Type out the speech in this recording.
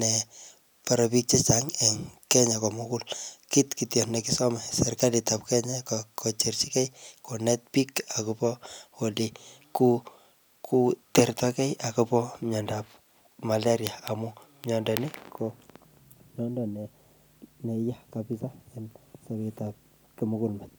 nebore biik chechang eng Kenya ko mugul. Kit kityo ne kisome serikalitab Kenya, ko kocherchikey konet biik akobo ole ku kotertakey akobo myondop malaria amu myondo nii, ko myondo neyaa kapsaa eng sobetab kimugulmet.